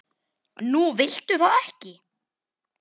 Nú viltu það ekki?